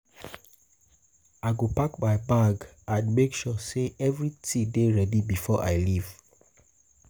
I go pack my bag and make sure say everything dey ready before I leave.